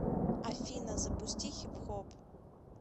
афина запусти хипхоп